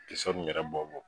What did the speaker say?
min yɛrɛ bɔ bɔ.